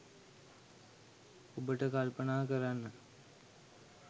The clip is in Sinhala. ඔබට කල්පනා කරන්න